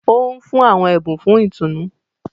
O nfun awọn ẹbun fún ìtùnú.